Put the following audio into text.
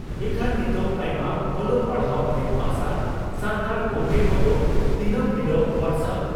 ᱤᱠᱷᱟᱹᱱ ᱱᱤᱛᱚᱜ ᱟᱭᱢᱟ ᱚᱞᱚᱜ ᱯᱟᱲᱦᱟᱣ ᱢᱮᱫ ᱢᱟᱨᱥᱟᱞ ᱥᱟᱱᱛᱟᱲ ᱜᱚᱢᱠᱮ ᱠᱚᱫᱚ ᱫᱤᱱᱟᱹᱢ ᱦᱤᱞᱚᱜ ᱦᱚᱣᱟᱴᱥ ᱟᱯ